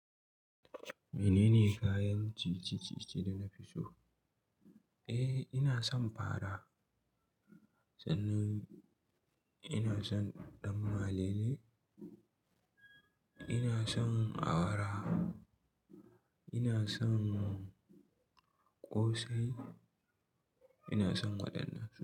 Menene kayan ciye-ciye ce da na fi so? Eh, ina son fara, sannan ina son ɗan malele, ina son awara, ina son ƙosai, ina son waɗannan.